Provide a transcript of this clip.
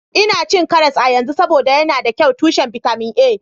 Ina cin karas a yanzu, saboda yana da kyau tushen bitamin A